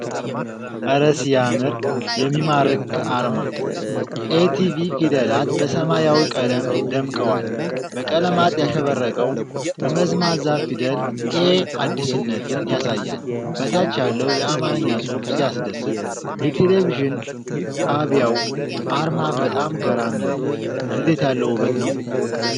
አረ ሲያምር! የሚማርክ አርማ! "ATV" ፊደላት በሰማያዊ ቀለም ደምቀዋል። በቀለማት ያሸበረቀው ጠመዝማዛ ፊደል "A" አዲስነትን ያሳያል። በታች ያለው የአማርኛ ጽሑፍ ሲያስደስት! የቴሌቪዥን ጣቢያው አርማ በጣም ገራሚ ነው። እንዴት ያለ ውበት ነው!